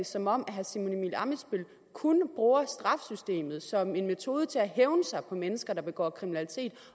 som om herre simon emil ammitzbøll kun bruger straffesystemet som en metode til at hævne sig på mennesker der begår kriminalitet